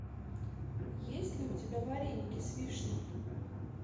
есть ли у тебя вареники с вишней